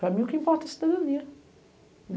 Para mim o que importa é a cidadania.